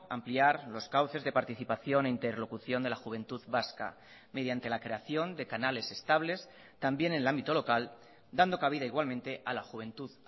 ampliar los cauces de participación e interlocución de la juventud vasca mediante la creación de canales estables también en el ámbito local dando cabida igualmente a la juventud